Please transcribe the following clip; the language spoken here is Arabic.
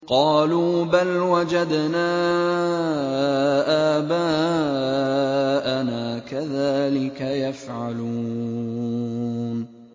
قَالُوا بَلْ وَجَدْنَا آبَاءَنَا كَذَٰلِكَ يَفْعَلُونَ